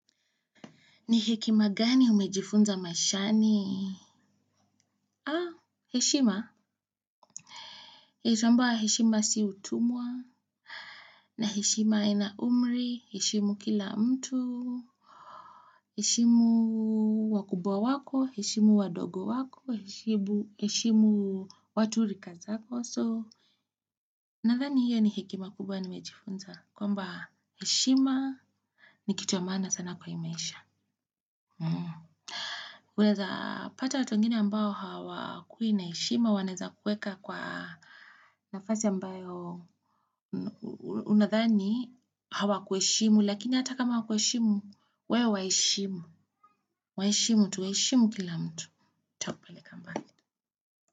Ni hekima gani umejifunza maishani? Heshima. Heshima si utumwa. Na heshima haina umri. Hishimu kila mtu. Heshimu wakubwa wako. Hishimu wadogo wako. Heshimu watu rika zako. Nadhani hiyo ni hekima kubwa nimejifunza. Kwamba heshima ni kitu ya maana sana kwa hii maisha. Unaeza pata watu wengine ambao hawakui naeshima wanaeza kueka kwa nafasi ambayo unadhani hawakueshimu lakini hata kama hawakueshimu we waeshimu. Waeshimu tu eshimu kila mtu. Ta kupeleka mbali.